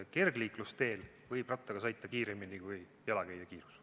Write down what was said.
Kergliiklusteel võib rattaga sõita kiiremini, kui on jalakäija kiirus.